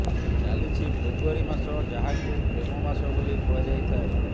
ଚାଲିଛି ଫେବୃଆରୀ ମାସ ଯାହାକୁ ପ୍ରେମ ମାସ ବୋଲି କୁହାଯାଇଥାଏ